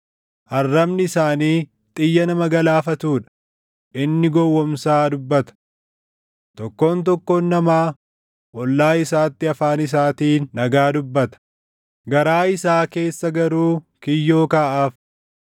Arrabni isaanii xiyya nama galaafatuu dha; inni gowwoomsaa dubbata. Tokkoon tokkoon namaa ollaa isaatti afaan isaatiin nagaa dubbata; garaa isaa keessa garuu kiyyoo kaaʼaaf.